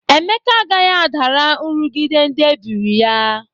Emeka agaghị adara nrughide ndị ebiri ya.